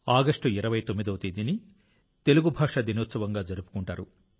August 29 వ తేదీని తెలుగు దినోత్సవంగా జరుపుకుంటారు